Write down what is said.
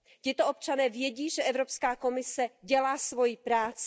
Tito občané vědí, že Evropská komise dělá svoji práci.